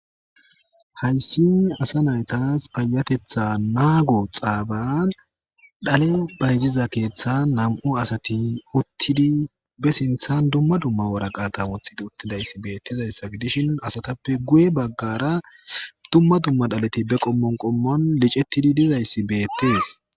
Hayssi asa naytas payatetha naago xaaban dhale bayziza keeththan nam7u asati uttidi be sinthan dumma dumma woraqata wothid uttidayssi beettizayssa fi dishin asatappe guye baggara dumma dumma dhaleti be qommon qommon licettidi dizayssi beettees